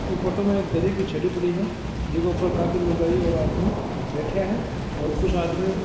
इ फोटो में एक दरी बिछेड़ी पड़ी है जिक ऊपर काफी लुगाई और आदमी बैठिया है और कुछ आदमी --